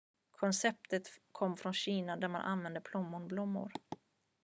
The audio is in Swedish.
konceptet kom från kina där man använde plommonblommor